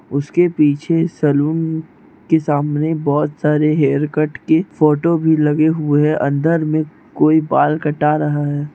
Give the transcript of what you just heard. उसके पीछे सैलून के सामने बहुत सारे हेयरकट के फोटो भी लगे हुए है अंदर में कोई बाल कटा रहा है।